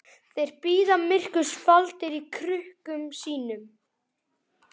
Þeir bíða myrkurs faldir í krukkum sínum.